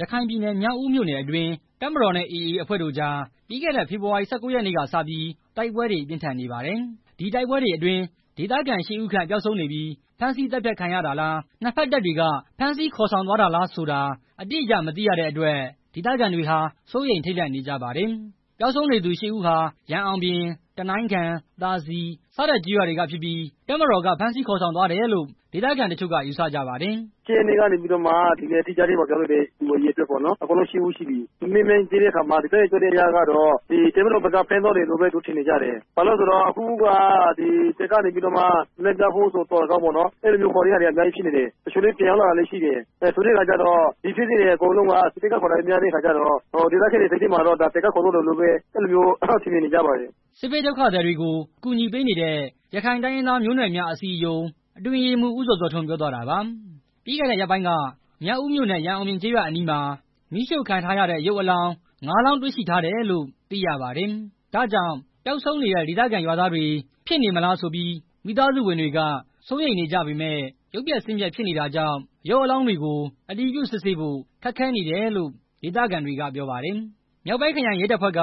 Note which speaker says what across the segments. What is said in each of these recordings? Speaker 1: ရခိုင်ပြည်နယ် မြောက်ဦးမြို့နယ်အတွင်း တပ်မတော်နဲ့ AA အဖွဲ့တို့ကြား ပြီးခဲ့တဲ့ဖေဖော်ဝါရီလ ၁၉ ရက်နေ့ကစပြီး တိုက်ပွဲတွေ ပြင်းထန်နေပါတယ်။ ဒီတိုက်ပွဲတွေအတွင်း ဒေသခံကျေးရွာသား ၈ ဦးခန့် ပျောက်ဆုံးနေပြီး ဖမ်းဆီးသတ်ဖြတ်ခံရတာလား၊ နှစ်ဘက်တပ်တွေက ဖမ်းဆီးခေါ်ဆောင်သွားတာလားဆိုတာ အတိအကျ မသိရတဲ့အတွက် ဒေသခံတွေဟာ စိုးရိမ်ထိတ်လန့်နေကြပါတယ်။ ပျောက်ဆုံးနေသူ ၈ ဦးဟာ ရန်အောင်ပြင်၊ တနိုင်းခံ၊ သာစည် စတဲ့ကျေးရွာတွေကဖြစ်ပြီး တပ်မတော်က ဖမ်းဆီးခေါ်ဆောင်သွားတယ်လို့ ဒေသခံတချို့က ယူဆကြပါတယ်။ "၁၈ရက်နေ့ကနေ ဒီနေ့အထိပျောက်နေတဲ့လူ ၈ ဦးရှိပြီ မေးမြန်းကြည့်တဲ့အခါမှာ ဒေသခံတွေ ပြောပြချက်အရတော့ တပ်မတော်ဘက်ကပဲ ဖမ်းသွားတယ်လို့ ထင်နေကြတယ်။ ဘာဖြစ်လို့လည်းဆိုတော့ အခုက တပ်မတော်ဘက်က လမ်းပြဖို့သော်လည်းကောင်းပေါ့နော်။ ခေါ်သွားတာတွေက အများကြီးဖြစ်နေတယ်။ တချို့လည်း ပြန်ရောက်လာတာရှိတယ် ဒီဖြစ်စဉ် အကုန်လုံးမှာ စစ်တပ်ကပဲ ခေါ်တဲ့ဟာများတဲ့အခါကျတော့ ဒေသခံတွေစိတ်ထဲမှာ တပ်မတော်ကပဲ ခေါ်သွားတယ်လို့ ထင်နေကြတယ်" စစ်ဘေးဒုက္ခသည်တွေကို အကူအညီပေးနေတဲ့ ရခိုင်တိုင်းရင်းသား မျိုးနွယ်များအစည်းအရုံး အတွင်းရေးမှူး ဦးဇော်ဇော်ထွန်း ပြောသွားတာပါ။ ပြီးခဲ့တဲ့ရက်ပိုင်းက မြောက်ဦးမြို့နယ် ရန်အောင်ပြင်ကျေးရွာအနီးမှာ မီးရှို့ခံထားရတဲ့ ရုပ်အလောင်း ၅လောင်း တွေ့ရှိထားတယ်လို့ သိရပါတယ်။ ဒါကြောင့် ပျောက်ဆုံးနေတဲ့ ဒေသခံရွာသားတွေ ဖြစ်နေမလားဆိုပြီး မိသားစုဝင်တွေက စိုးရိမ်နေကြပေမယ့် ရုပ်ပျက်ဆင်းပျက် ဖြစ်နေတာကြောင့် ရုပ်အလောင်းတွေကို အတည်ပြုစစ်ဆေးဖို့ ခက်ခဲနေတယ်လို့ ဒေသခံတွေက ပြောပါတယ်။ မြောက်ဦးခရိုင်ရဲတပ်ဖွဲ့က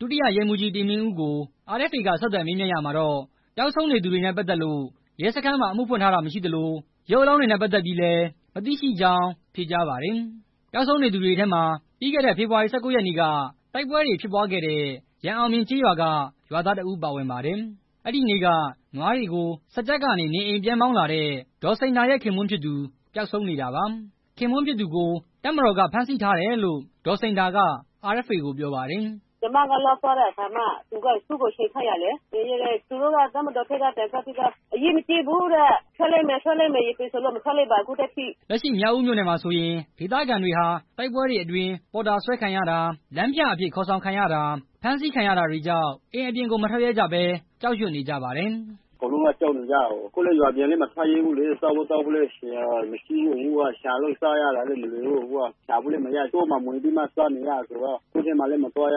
Speaker 1: ဒုတိယ ရဲမှူးကြီး တင်မင်းဦး ကို RFA က ဆက်သွယ်မေးမြန်းရာမှာတော့ ပျောက်ဆုံးနေသူတွေနဲ့ ပတ်သက်လို့ ရဲစခန်းမှာ အမှုဖွင့်ထားတာမရှိသလို ရုပ်အလောင်းတွေနဲ့ပတ်သက်ပြီးလည်း မသိရှိကြောင်း ဖြေကြားပါတယ်။ ပျောက်ဆုံးနေသူတွေထဲမှာ ပြီးခဲ့တဲ့ဖေဖော်ဝါရီလ ၁၉ရက်နေ့က တိုက်ပွဲတွေဖြစ်ပွားခဲ့တဲ့ ရန်အောင်ပြင်ကျေးရွာက ရွာသားတစ်ဦး ပါဝင်ပါတယ်။ အဲဒီနေ့က နွားတွေကို စားကျက်ကနေ နေအိမ်ပြန်မောင်းလာတဲ့ ဒေါ်စိန်ဒါရဲ့ ခင်ပွန်းဖြစ်သူ ပျောက်ဆုံးနေတာပါ။ ခင်ပွန်းဖြစ်သူကို တပ်မတော်က ဖမ်းဆီးထားတယ်လို့ ဒေါ်စိန်ဒါက RFA ကို ပြောပါတယ်။ "ကျွန်မ တပ်ထဲသွားတဲ့အခါမှာ ခြေထောက်ကို ကြိုးချည်ထားတယ် တပ်မတော်ဘက်က ပြောတာကတော့ အရေးမကြီးဘူးတဲ့။ ပြန်လွှတ်လိုက်မယ်ပြောတယ် ခုထိပြန်မလွှတ်သေးဘူး" လက်ရှိ မြောက်ဦးမြို့နယ်မှာဆိုရင် ဒေသခံတွေဟာ တိုက်ပွဲတွေအတွင်း ပေါ်တာဆွဲခံရတာ၊ လမ်းပြအဖြစ် ခေါ်ဆောင်ခံရတာ၊ ဖမ်းဆီးခံရတာတွေကြောင့် အိမ်အပြင်ကို မထွက်ရဲကြဘဲ ကြောက်ရွံ့နေကြပါတယ်။ "အကုန်လုံးက ကြောက်နေရတယ် ရွာပြင်ကိုလည်း မထွက်ရဲဘူး စားဖို့သောက်ဖို့လည်း မရှိဘူး အခုက ရှာစားရတာလည်းမလွယ်ဘူး တောထဲမှာ ဝင်ရှာဖွေစားသောက်တာဆိုတော့ တောထဲမဝင်ရတော့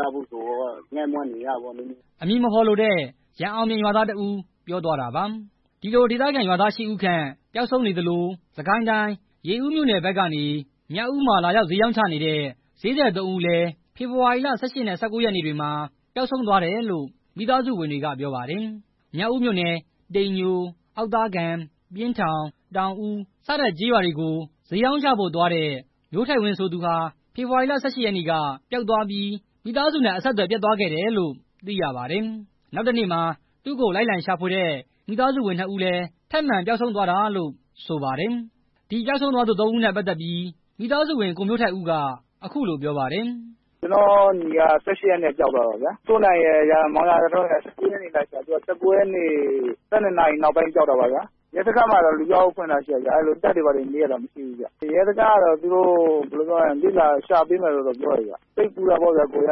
Speaker 1: ငတ်မွတ်နေကြတာပေါ့" အမည်မဖော်လိုတဲ့ ရန်အောင်ပြင်ရွာသားတစ်ဦး ပြောသွားတာပါ။ ဒီလိုဒေသခံရွာသား ၈ ဦးခန့် ပျောက်ဆုံးနေသလို စစ်ကိုင်းတိုင်း ရေဦးမြို့နယ်ဘက်ကနေ မြောက်ဦးမှာ လာရောက်ဈေးရောင်းချနေတဲ့ ဈေးသည် ၃ ဦးလည်း ဖေဖော်ဝါရီလ ၁၈ရက်နဲ့ ၁၉ ရက်နေ့တွေမှာ ပျောက်ဆုံးသွားတယ်လို့ မိသားစုဝင်တွေက ပြောပါတယ်။ မြောက်ဦးမြို့နယ် တိမ်ညို၊ အောက်သားကန် ၊ ပျဉ်းထောင် ၊ တောင်ဦး စတဲ့ ကျေးရွာတွေကို ဈေးရောင်းချဖို့ သွားတဲ့ မျိုးထိုက်ဝင်း ဆိုသူဟာ ဖေဖေါ်ဝါရီ ၁၈ ရက်နေ့က ပျောက်သွားပြီး မိသားစုနဲ့ အဆက်အသွယ်ပြတ်သွားခဲ့တယ်လို့ သိရပါတယ်။ နောက်တစ်နေ့မှာ သူ့ကိုလိုက်လံရှာဖွေတဲ့ မိသားစုဝင်နှစ်ဦးလည်း ထပ်မံပျောက်ဆုံးသွားတာလို့ ဆိုပါတယ်။ ဒီပျောက်ဆုံးသွားသူ ၃ ဦးနဲ့ ပတ်သက်ပြီး မိသားစုဝင် ကိုမျိုးထိုက်ဦးက အခုလိုပြောပါတယ်။ “ကျွန်တော့်ညီက ၁၈ ရက်နေ့ကပျောက်သွားတာ ဦးစိုးနိုင်ရယ် မောင်ရာဇာထွန်းရယ်က သူကိုလိုက်ရှာရင်း ၁၉ ရက်နေ့ နေလည်ကတည်းက အဆက်အသွယ်မရဘဲ ပျောက်သွားတာ ရဲစခန်းကိုတော့ လူပျောက်တိုင်ထားတယ် တပ်တွေဘာတွေတော့ မေးတာမရှိဘူး။ ရဲစခန်းကတော့ ရှာပေးမယ်ပြောတယ်။ စိတ်ပူတာပေါ့။ သူတို့က သ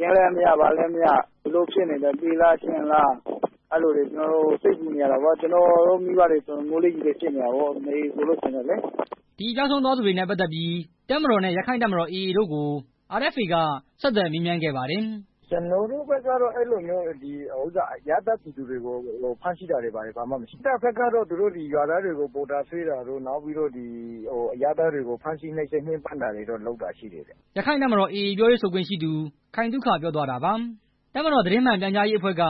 Speaker 1: တင်းလည်းမရ ဘာလည်းမရ ဘယ်လိုဖြစ်နေလဲ။ သေလားရှင်လားလည်းမသိ အဲလိုတွေ စိတ်ပူနေရတာပေါ့။ ကျွန်တော်တို့မိဘတွေဆို ငိုလိုက်ရယ်လိုက်ဖြစ်နေကြတယ်" ဒီပျောက်ဆုံးနေသူတွေနဲ့ပတ်သက်ပြီး တပ်မတော် နဲ့ ရက္ခိုင့်တပ်မတော် AA တို့ကို RFA က ဆက်သွယ်မေးမြန်းခဲ့ပါတယ်။ "ကျွန်တော်တို့ဘက်ကတော့ အဲလိုမျိုး အရပ်သားပြည်သူတွေကို ဖမ်းဆီးတာမျိုးမရှိဘူး။ တပ်ဘက်ကတော့ ရွာသားတွေကို ဒီလိုမျိုး ပေါ်တာစွဲတာတွေ အရပ်သားတွေကို ဖမ်းဆီးနှိပ်စက်ညှင်းပန်းတာတွေရှိတယ်" ရက္ခိုင့်တပ်မတော် AA ပြောရေးဆိုခွင့်ရှိသူ ခိုင်သုခ ပြောသွားတာပါ။ တပ်မတော်သတင်းမှန်ပြန်ကြားရေးအဖွဲ့က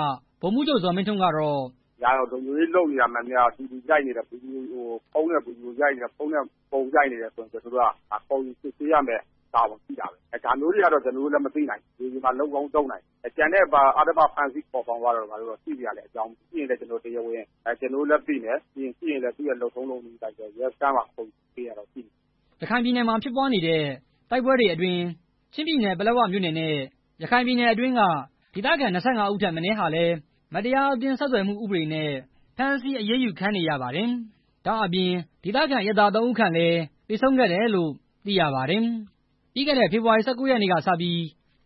Speaker 1: ဗိုလ်မှူးချုပ် ဇော်မင်းထွန်းကတော့... "ဒါလုံခြုံရေး လုပ်နေတာ မှန်သမျှကို ဖုန်းနဲ့ ဗွီဒီယိုရိုက်နေတယ် ဖုန်းနဲ့ ပုံရိုက်နေတယ် ဆိုရင်တော့ ကျွန်တော်တို့က ခေါ်ယူ စစ်ဆေးရမယ့်တာဝန် ရှိတာပေါ့။ ဒါမျိုးတွေကတော့ ကျွန်တော်တို့လည်း မသိနိုင်ဘူး၊ မြေပြင်မှာ လုပ်ကောင်းလုပ်နိုင်တယ်။ ကျန်တဲ့ အဓမ္မ ဖမ်းဆီးခေါ်ဆောင်သွားတာတို့ ဘာတို့ ရှိစရာလည်း အကြောင်းမရှိဘူး။ ရှိရင်လည်း တရားဝင် ကျွန်တော်တို့လည်း သိမယ်။ သိရင်လဲ သူ့ရဲ့ လုပ်ထုံးလုပ်နည်းအတိုင်း ရဲစခန်းမှာ အမှုဖွင့်တာတွေရှိမယ်" ရခိုင်ပြည်နယ်မှာ ဖြစ်ပွားနေတဲ့ တိုက်ပွဲတွေအတွင်း ချင်းပြည်နယ် ပလက်ဝမြို့နယ် နဲ့ ရခိုင်ပြည်နယ်အတွင်းက ဒေသခံ ၂၅ ဦးထက်မနည်းဟာလည်း မတရားအသင်း ဆက်သွယ်မှုဥပဒေ နဲ့ ဖမ်းဆီးအရေးယူခံနေရပါတယ်။ ဒါ့အပြင် ဒီတိုက်ပွဲတွေအတွင်း ဒေသခံအရပ်သား ၃ ဦးခန့်လည်း သေဆုံးခဲ့တယ်လို့ သိရပါတယ်။ ပြီးခဲ့တဲ့ဖေဖော်ဝါရီလ ၁၉ ရက်နေ့ကစပြီး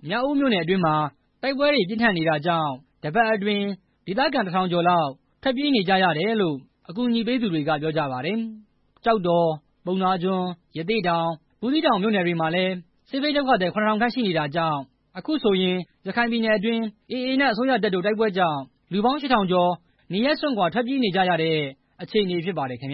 Speaker 1: မြောက်ဦးမြို့နယ်အတွင်းမှာ တိုက်ပွဲတွေပြင်းထန်နေတာကြောင့် တစ်ပတ်အတွင်း ဒေသခံ တစ်ထောင်ကျော်လောက် ထွက်ပြေးနေကြရတယ်လို့ အကူအညီပေးနေသူတွေက ပြောကြပါတယ်။ ကျောက်တော်၊ ပုဏ္ဏားကျွန်း၊ ရသေ့တောင်၊ ဘူးသီးတောင် မြို့နယ်တွေမှာလည်း စစ်ဘေးဒုက္ခသည် ၇၀၀၀ ခန့် ရှိနေတာကြောင့် အခုဆိုရင် ရခိုင်ပြည်နယ်အတွင်း AA နဲ့ အစိုးရတပ်တို့ တိုက်ပွဲကြောင့် လူပေါင်း ၈ထောင်ကျော် နေရပ်စွန့်ခွာ ထွက်ပြေးနေကြရတဲ့အခြေအနေ ဖြစ်ပါတယ်ခင်ဗျ